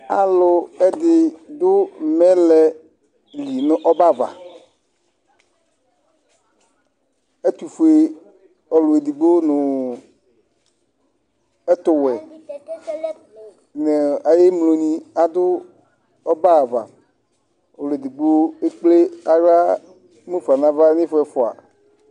aloɛdi do mɛlɛ li no ɔbɛ ava ɛtofue ɔlo edigbo no ɛtowɛ no ay'ɛmlo ni ado ɔbɛ ava ɔlo edigbo ekple ala mufa n'ava ifɔ ɛfua